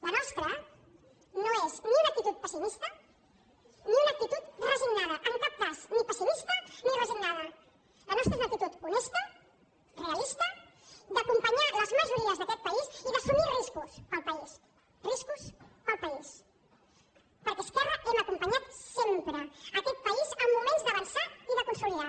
la nostra no és ni una actitud pessimista ni una actitud resignada en cap cas ni pessimista ni resignada la nostra és una actitud honesta realista d’acompanyar les majories d’aquest país i d’assumir riscos per al país riscos per al país perquè a esquerra hem acompanyat sempre aquest país en moments d’avançar i de consolidar